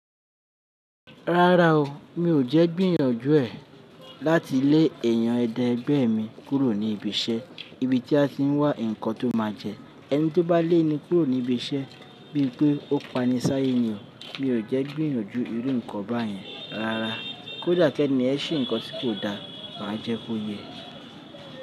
Rárá o, mi ò jẹ́ gbìyànjú ẹ̀ láti lé èèyàn ẹ̀dẹ̀ ẹgbẹ́ mi kúrò ní ibi iṣẹ́. Ibi tí a ti ń wá nǹkan tó máa jẹ. Ẹni tí ó bá lé ni kúrò ní ibi iṣẹ́ bíi pé ó pani sáyé ni o. Mi ò jẹ́ gbìyànjú irú nǹkan báyẹn rárá. Kódà kí ènìyàn ṣe nǹkan tí kò da, máa jẹ́ kó yẹ.